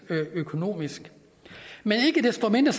økonomisk men ikke desto mindre